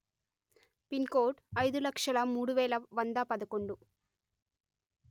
pin code అయిదు లక్షలు మూడు వెలు వంద పదకొండు